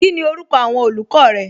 Kíni orúkọ awọn olùkọ rẹ?